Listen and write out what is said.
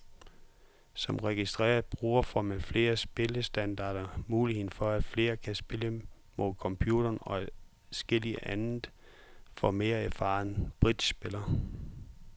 Som registreret bruger får man flere spillestandarder, muligheden for at flere kan spille mod computeren og adskilligt andet for mere erfarne bridgespillere.